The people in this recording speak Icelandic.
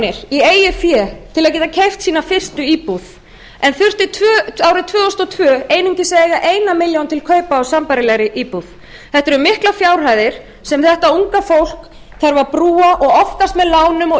eigið fé til að geta keypt sína fyrstu íbúð en þurfti árið tvö þúsund og tvö einungis að eiga eina milljón til kaupa á sambærilegri íbúð þetta eru miklar fjárhæðir sem þetta unga fólk þarf að brúa og oftast með lánum og